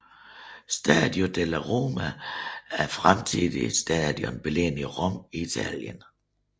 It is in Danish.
Stadio della Roma er et fremtidigt stadion beliggende i Rom i Italien